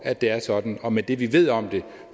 at det er sådan og med det vi ved om det